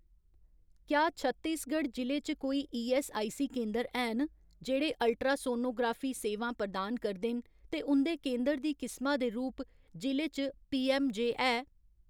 क्या छत्तीसगढ जि'ले च कोई ईऐस्सआईसी केंदर हैन जेह्ड़े अल्ट्रासोनोग्राफी सेवां प्रदान करदे न ते उं'दे केंदर दी किसमा दे रूप जि'ले च पीऐम्मजय है ?